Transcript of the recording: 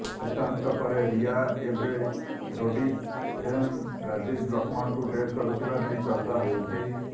ସୁଶାନ୍ତଙ୍କ ପରେ ରିଆ ଏବେ ରୋଡିଜ ଫେମ୍ ରାଜୀବ ଲକ୍ଷ୍ମଣଙ୍କୁ ଡେଟ୍ କରୁଥିବା ନେଇ ଚର୍ଚ୍ଚା ହେଉଛି